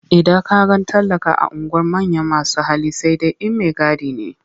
Idan ka ga talaka a unguwar manyan masu hali sai dai in maigadi ne.